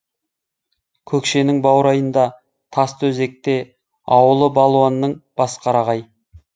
көкшенің баурайында тастыөзекте ауылы балуанның басқарағай